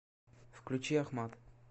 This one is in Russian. включи ахмад